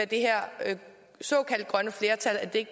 det her såkaldte grønne flertal